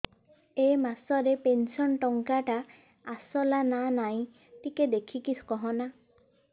ଏ ମାସ ରେ ପେନସନ ଟଙ୍କା ଟା ଆସଲା ନା ନାଇଁ ଟିକେ ଦେଖିକି କହନା